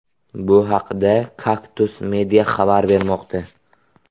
Bu haqda Kaktus media xabar bermoqda .